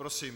Prosím.